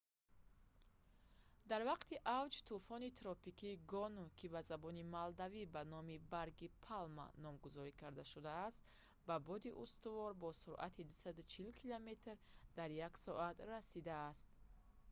дар вақти авҷ тӯфони тропикии гону ки ба забони малдивӣ ба номи барги палма номгузорӣ карда шудааст ба боди устувор бо суръати 240 километр дар як соат 149 мил дар як соат расидааст